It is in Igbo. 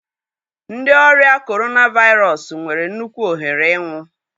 Ndị ọrịa Corona Virus nwere nnukwu ohere ịnwụ.